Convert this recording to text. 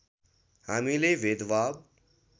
हामीले भेदभाव